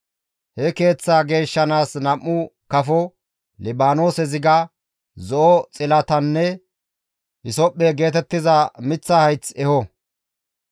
He keeththaa geeshshanaas nam7u kafo, Libaanoose ziga, zo7o xilatanne hisophphe geetettiza miththa hayth eho.